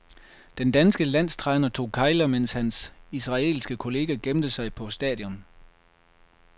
Den danske landstræner tog kegler, mens hans israelske kollega gemte sig på stadion.